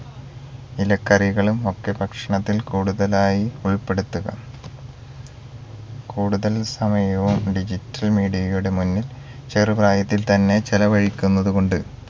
ഇലക്കറികളുമൊക്കെ ഭക്ഷണത്തിൽ കൂടുതലായി ഉൾപെടുത്തുക കൂടുതൽ സമയവും digital media യുടെ മുന്നിൽ ചെറുപ്രായത്തിൽ തന്നെ ചിലവഴിക്കുന്നത് കൊണ്ട്